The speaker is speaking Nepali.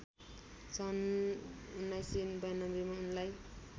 सन् १९९२ मा उनलाई